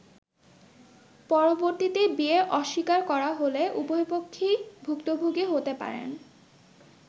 পরবর্তীতে বিয়ে অস্বীকার করা হলে উভয়পক্ষই ভূক্তভোগী হতে পারেন।